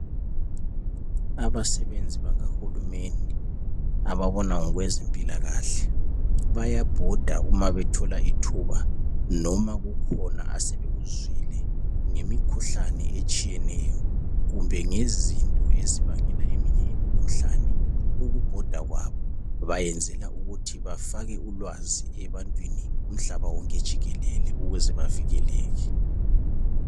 Abasebenzi bakahulumende ababona ngokwezempilakahle bayabhoda uma bethola ithuba noma kukhona asebekuzwile ngemkhuhlane etshiyeneyo kumbe ngezinto ezibangela eminye imikhuhlane. Ukubhoda kwabo bayenzela ukuthi bafake ulwazi ebantwini umhlaba wonke jikelele ukuze bavikeleke.